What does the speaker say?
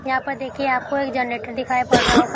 यहां पर देखिए आपको एक गैनरेटर दिखाई पड़ रहा होगा।